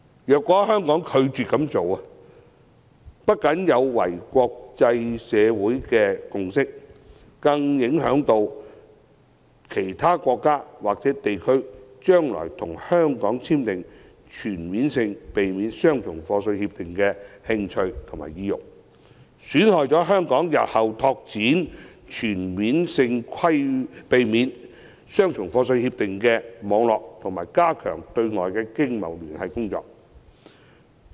如果香港拒絕這樣做，不僅有違國際社會的共識，更會削弱其他國家或地區將來與香港簽訂全面性協定的興趣和意欲，損害香港日後拓展全面性協定網絡和加強對外經貿聯繫的工作。